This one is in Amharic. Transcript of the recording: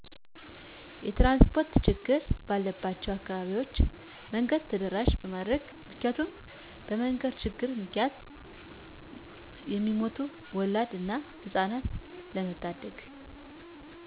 የትራንስፖርት ችግር ባለባቸው አካባቢዎች መንገድ ተደራሺ ማድረግ ምክንያቱም በመንገድ ችግር ምክንያት እሚሞቱ ወላድን እና ህጻናትን ለመታደግ።